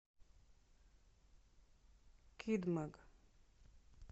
кид маг